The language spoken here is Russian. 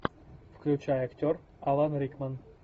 включай актер алан рикман